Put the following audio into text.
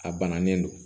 A bananen don